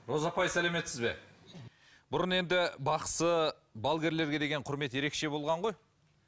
роза апай сәлеметсіз бе бұрын енді бақсы балгерлерге деген құрмет ерекше болған ғой